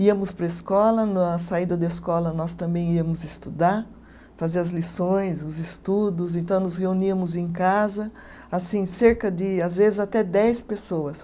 Íamos para a escola, na saída da escola nós também íamos estudar, fazer as lições, os estudos, então nos reuníamos em casa, assim, cerca de, às vezes, até dez pessoas.